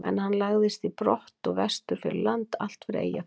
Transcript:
En hann lagðist í brott og vestur fyrir land, allt fyrir Eyjafjörð.